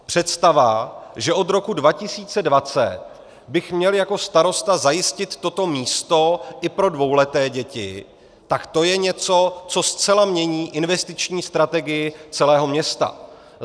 Představa, že od roku 2020 bych měl jako starosta zajistit toto místo i pro dvouleté děti, tak to je něco, co zcela mění investiční strategii celého města.